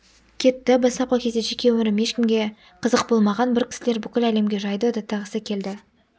кетті бастапқы кезде жеке өмірім ешкімге қызық болмаған бір кісілер бүкіл әлемге жайды даттағысы келді